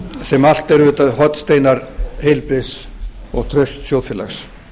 sem allt eru auðvitað hornsteinar heilbrigðs og trausts þjóðfélags